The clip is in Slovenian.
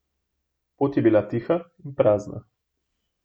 Pot je bila tiha in prazna.